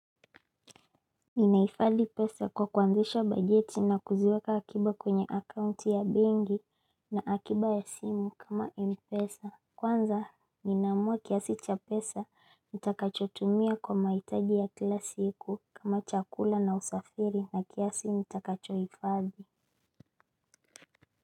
Ninahifadi pesa kwa kuanzisha bajeti na kuziweka akiba kwenye akaunti ya benki na akiba ya simu kama Mpesa. Kwanza ninaamua kiasi cha pesa nitakachotumia kwa mahitaji ya kila siku kama chakula na usafiri na kiasi nitakachohifadhi.